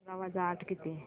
अठरा वजा आठ किती